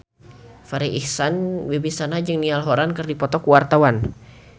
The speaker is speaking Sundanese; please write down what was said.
Farri Icksan Wibisana jeung Niall Horran keur dipoto ku wartawan